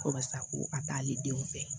Kɔrɔ sa ko a t'ale denw fɛ